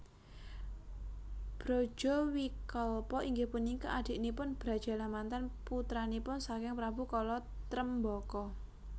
Brajawikalpa inggih punika adiknipun Brajalamatan putranipun saking Prabu Kala Tremboko